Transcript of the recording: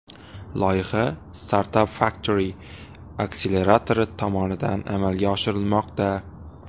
Loyiha StartupFactory akseleratori tomonidan amalga oshirilmoqda.